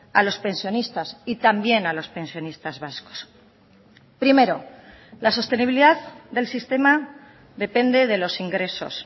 a los pensionistas y también a los pensionistas vascos primero la sostenibilidad del sistema depende de los ingresos